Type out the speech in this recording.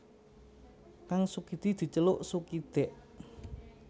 Kang Sukidi diceluk Sukidèk